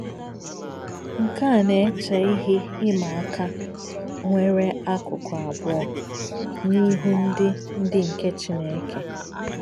Nke a na-eche ihe ịma aka nwere akụkụ abụọ n’ihu ndị ndị nke Chineke.